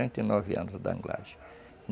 quarenta e nove anos, o da anglagem.